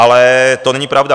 Ale to není pravda.